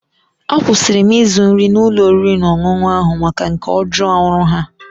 Akwụsịri m ịzụ nri n'ụlọ oriri na ọṅụṅụ ahụ maka nke ajọ ọrụ ha.